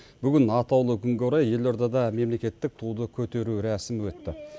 бүгін атаулы күнге орай елордада мемлекеттік туды көтеру рәсімі өтті